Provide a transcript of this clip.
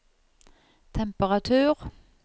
temperatur